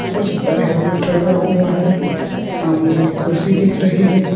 उस पर हेल्मेट रखा हुआ है सामने एक कुर्सी दिख रही है।